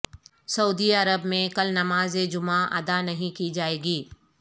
سعودی عرب میں کل نماز جمعہ ادا نہیں کی جائے گی